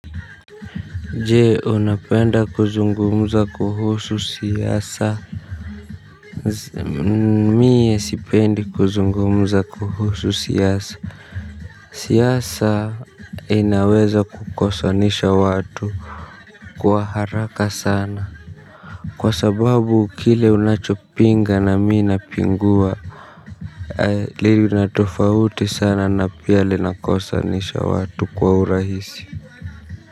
Je unapenda kuzungumuza kuhusu siasa? Mie sipendi kuzungumuza kuhusu siasa. Siasa inaweza kukosanisha watu. Kwa haraka sana kwa sababu kile unachopinga na mi napingua. Lina tofauti sana na pia linakosanisha watu kwa urahisi.